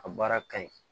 A baara ka ɲi